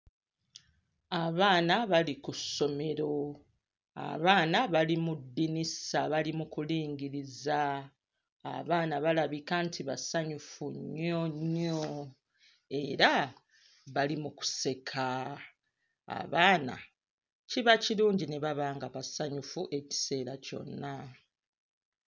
Abaana bali ku ssomero abaana bali mu ddinisa bali mu kulingiriza abaana balabika nti basanyufu nnyo nnyo era bali mu kuseka abaana kiba kirungi ne baba nga basanyufu ekiseera kyonna.